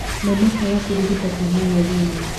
Na makaaga kũrigita kĩhumo gĩa thĩna